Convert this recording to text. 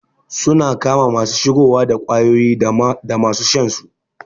Suna kama masu shigowa da kwayoyi dama su shansu